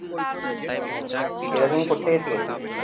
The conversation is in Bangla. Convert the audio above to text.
ও এটা তুমি কোথ থেকে শিখেছিলে?